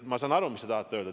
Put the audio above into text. Ma saan aru, mida te tahate öelda.